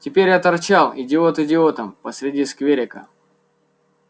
теперь я торчал идиот идиотом посреди скверика